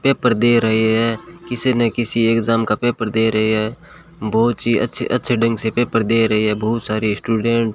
paper दे रहे हैं किसी न किसी एग्जाम का पेपर दे रहे हैं बहुत ही अच्छे अच्छे ढंग से पेपर दे रहे हैं बहुत सारे स्टूडेंट --